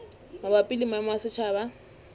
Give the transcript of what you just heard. mabapi le maemo a setjhaba